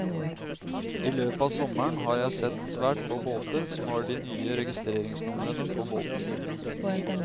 I løpet av sommeren har jeg sett svært få båter som har de nye registreringsnumrene på båten.